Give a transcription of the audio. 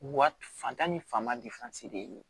Wa fantan ni fanba de ye